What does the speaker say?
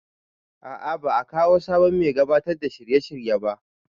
A'a ba a kawo sabon mai gabatar da shirye shirye ba